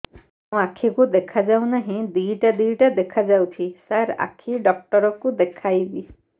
ମୋ ଆଖିକୁ ଦେଖା ଯାଉ ନାହିଁ ଦିଇଟା ଦିଇଟା ଦେଖା ଯାଉଛି ସାର୍ ଆଖି ଡକ୍ଟର କୁ ଦେଖାଇବି